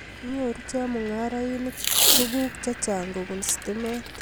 Nyoru chemungarainik tuguk chechang' kobun stimet